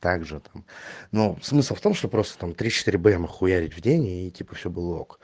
также там ну смысл в том что просто там три-четыре бма хуярить в день и типа всё было ок